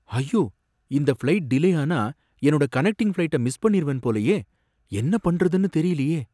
ஐயோ! இந்த flight delay ஆனா என்னோட கனெக்டிங் ஃப்ளைட்ட மிஸ் பண்ணிருவேன் போலயே, என்ன பண்றதுன்னு தெரியலயே.